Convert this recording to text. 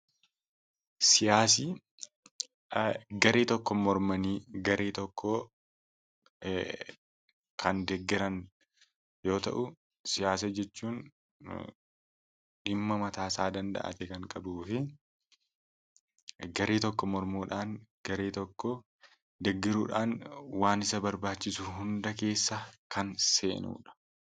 Siyaasni garee tokko mormanii garee tokko kan deeggaran yoo ta'u, siyaasa jechuun dhimma mataa isaa danda'aa ta'e kan qabuu fi garee tokko mormuudhaan garee tokko deeggaruudhaan waan isa barbaachisu keessaa kan seenudha.